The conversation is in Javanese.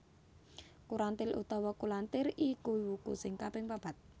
Kurantil utawa Kulantir iku wuku sing kaping papat